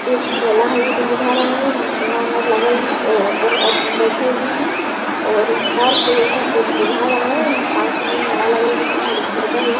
एक मेला है जैसन बुझा रहा है यह झूला वाला लागल है और बहुत आदमी बैठे हुए हैं और यह पार्क जैसा कुछ बुझा रहा है पार्क में मेला लग्न जैसन और घर भी है।